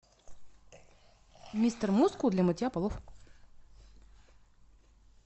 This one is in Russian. мистер мускул для мытья полов